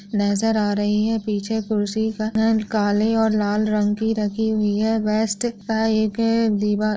नजर आ रही है पीछे खुर्सी का रंग काले और लाल रंग की राखी हुई है। वेस्ट --